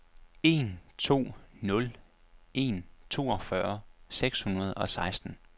en to nul en toogfyrre seks hundrede og seksten